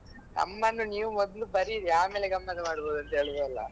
ನಮ್ಮನ್ನು ನೀವು ಮೊದ್ಲು ಬರೀರಿ ಆಮೇಲೆ ಗಮ್ಮತ್ ಮಾಡ್ಬೋದು ಅಂತ ಹೇಳುದೆಲ್ಲ.